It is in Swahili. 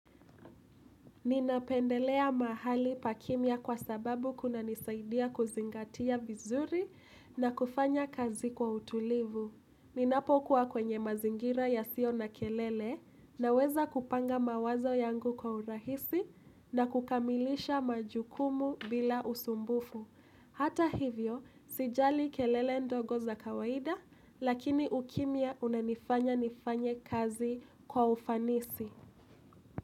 Ninapendelea mahali pa kimya kwa sababu kunanisaidia kuzingatia vizuri na kufanya kazi kwa utulivu. Ninapokuwa kwenye mazingira yasio na kelele naweza kupanga mawazo yangu kwa urahisi na kukamilisha majukumu bila usumbufu. Hata hivyo, sijali kelele ndogo za kawaida lakini ukimya unanifanya nifanye kazi kwa ufanisi.